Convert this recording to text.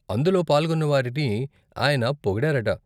అందులో పాల్గొన్నవారిని ఆయన పోగిడారట.